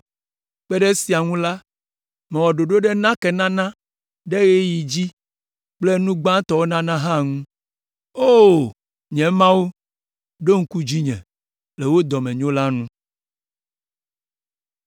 Kpe ɖe esiawo ŋu la, mewɔ ɖoɖo ɖe nakenana ɖe ɣeyiɣi dzi kple nu gbãtɔwo nana hã ŋu. O! Nye Mawu, ɖo ŋku dzinye, le wò dɔmenyo la nu.